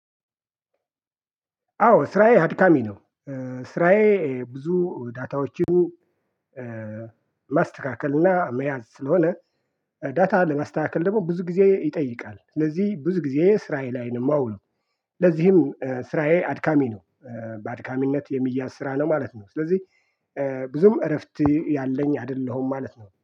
አዎ ስራዬ አድካሚ ነው። ስራዬ ብዙ ዳታዎችን ማስተካከል እና መያዝ ስለሆነ ዳታ ለማስተካከል ደግሞ ብዙ ጊዜ ይጠይቃል። ስለዚህ ብዙ ጊዜ ስራዬ ላይ ነው የማውለው። ለዚህም ስራዬ አድካሚ ነው። በአድካሚነት የሚያስራ ነው ማለት ነው። ስለዚህ ብዙም እረፍት ያለኝ አይደለሁም ማለት ነው